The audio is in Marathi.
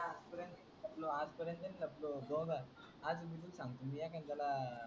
आज पर्यन्त नाही लपलो बघ आज मी तुला सांगतो.